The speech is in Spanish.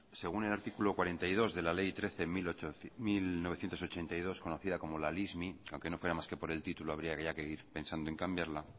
según el artículo cuarenta y dos de la ley trece barra mil novecientos ochenta y dos conocida como la lismi aunque no fuera más que por el título habría ya que ir pensando en cambiarla